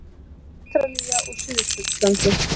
Ástralía og Suðurskautslandið.